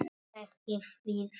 Ekki við þig.